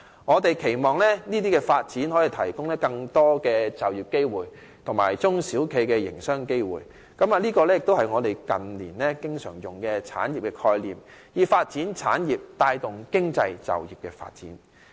我們期望這些發展可以提供更多就業機會及中小企業的營商機會，這亦是我們近年經常引用的"產業"概念，以發展產業帶動經濟及就業的發展。